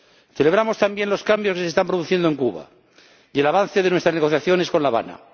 Celebramos también los cambios que se están produciendo en Cuba y el avance de nuestras negociaciones con La Habana.